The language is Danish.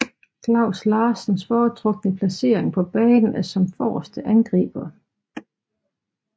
Klaus Larsens foretrukne placering på banen er som forreste angriber